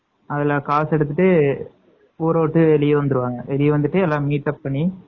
அதுல காச எடுத்துட்டு ஊறவிட்டு வெளிய வந்துருவாங்க வெளிய வந்துட்டு எல்லாம் meetup பண்ணி